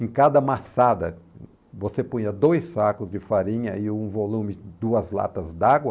Em cada amassada, você punha dois sacos de farinha e um volume de duas latas d'água,